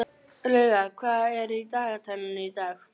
Lauga, hvað er í dagatalinu í dag?